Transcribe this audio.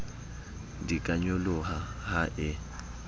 di ka nyoloha ha e